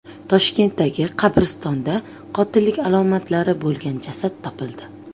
Toshkentdagi qabristonda qotillik alomatlari bo‘lgan jasad topildi.